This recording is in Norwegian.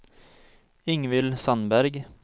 Ingvill Sandberg